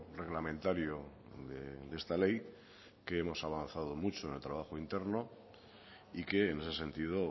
reglamentario de esta ley que hemos avanzado mucho en el trabajo interno y que en ese sentido